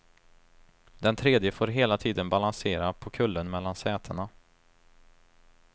Den tredje får hela tiden balansera på kullen mellan sätena.